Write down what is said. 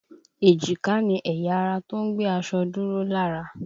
Èjìká ni ẹ̀yà ara tó ń gbé aṣọ dúró lára